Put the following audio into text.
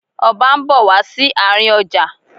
Ọba ń bọ̀ wá sí àárín ọjà.